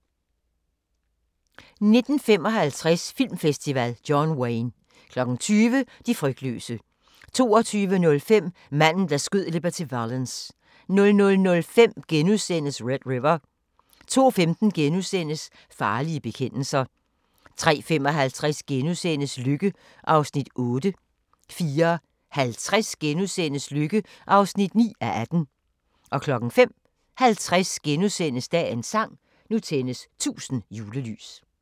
19:55: Filmfestival: John Wayne 20:00: De frygtløse 22:05: Manden, der skød Liberty Valance 00:05: Red River * 02:15: Farlige bekendelser * 03:55: Lykke (8:18)* 04:50: Lykke (9:18)* 05:50: Dagens sang: Nu tændes 1000 julelys *